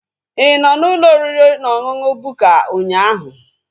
Ị nọ n'ụlọ oriri na ọṅụṅụ Bukka ụnyaahụ?